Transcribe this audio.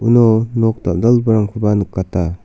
nok dal·dalgiparangkoba nikata.